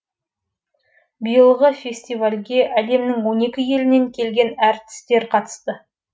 биылғы фестивальге әлемнің он екі елінен келген әртістер қатысты